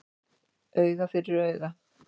Auga fyrir auga